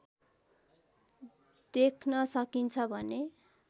देख्न सकिन्छ भने